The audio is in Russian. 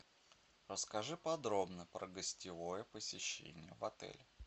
расскажи подробно про гостевое посещение в отеле